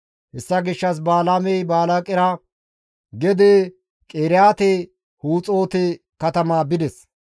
Hessa gishshas Balaamey Balaaqera gede Qiriyaate Huxoote katama bides.